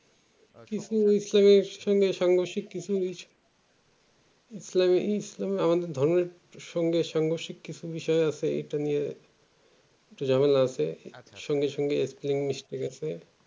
কিছু ইসলামের সঙ্গে ইসলামে ইসলামের আমাদের ধর্মের সঙ্গে কিছু বিষয় আছে এটা নিয়ে ঝামেলা আছে সঙ্গে সঙ্গে শিক্ষার বিষয় আছে একটু ঝামেলা আছে সঙ্গে সঙ্গে একটু spelling mistake ও আছে